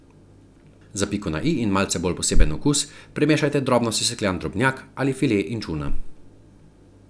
Za piko na i in malce bolj poseben okus primešajte drobno sesekljan drobnjak ali file inčuna.